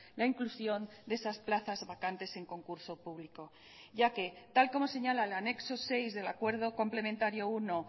la inclusión de esas plazas vacantes en concurso público ya que tal como señala el anexo seis del acuerdo complementario uno